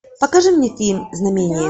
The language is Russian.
покажи мне фильм знамение